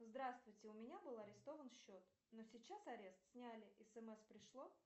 здравствуйте у меня был арестован счет но сейчас арест сняли смс пришло